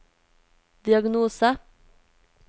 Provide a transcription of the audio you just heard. diagnose